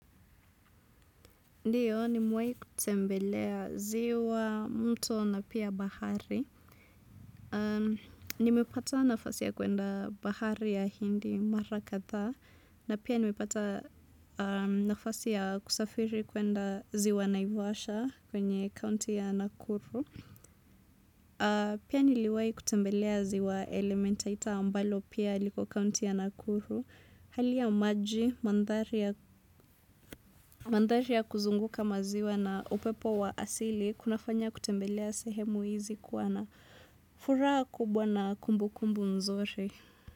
Ndiyo, nimewahi kutembelea ziwa, mtobna pia bahari. Nimepata nafasi ya kuenda bahari ya hindi, mara kadhaa. Na pia nimepata nafasi ya kusafiri kwenda ziwa Naivasha kwenye county ya Nakuru. Pia niliwahi kutembelea ziwa elementaita ambalo pia liko county ya Nakuru. Hali ya maji, mathari ya kuzunguka maziwa na upepo wa asili, kunafanya kutembelea sehemu hizi kuwa na furahavkubwa na kumbu kumbu nzuri.